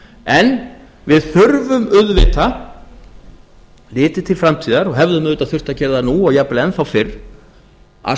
en við þurfum auðvitað litið til framtíðar og hefðum auðvitað þurft að gera það nú og jafnvel enn þá fyrr að